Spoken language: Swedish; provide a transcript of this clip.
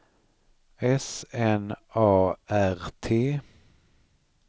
S N A R T